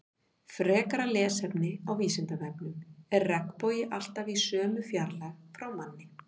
Frekara lesefni á Vísindavefnum: Er regnbogi alltaf í sömu fjarlægð frá manni?